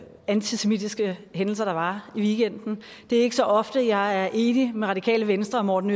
antisemitiske hændelser der var i weekenden det er ikke så ofte jeg er enig med radikale venstre og morten